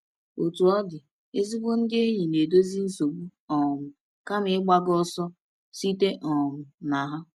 Otú ọ dị, ezigbo ndị enyi na-edozi nsogbu um kama ịgbaga ọsọ site um na ha.